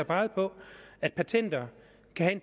peget på at patenter kan